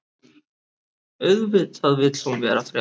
Auðvitað vill hún vera frjáls.